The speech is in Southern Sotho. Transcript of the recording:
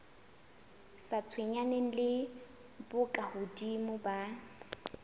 sa tshwenyaneng le bokahodimo ba